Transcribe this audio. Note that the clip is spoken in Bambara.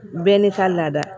Bɛɛ n'i ka lada